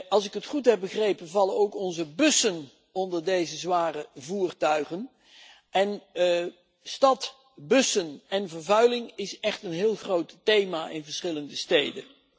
Als ik het goed heb begrepen, vallen ook onze bussen onder deze zware voertuigen, en vervuiling door bussen is echt een heel groot thema in verschillende steden.